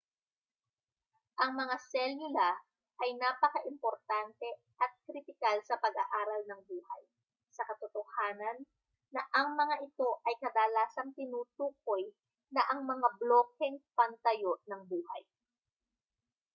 ang mga selula ay napakaimportante at kritikal sa pag-aaral ng buhay sa katotohanan na ang mga ito ay kadalasang tinutukoy na ang mga blokeng pantayo ng buhay